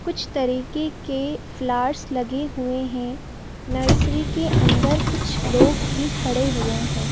कुछ तरीके के फ्लावर्स लगे हुए हैं नर्सरी के अंदर कुछ लोग भी खड़े हुए हैं।